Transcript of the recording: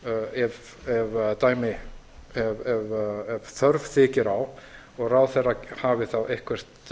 ef þörf þykir á og ráðherra hafi þá eitthvert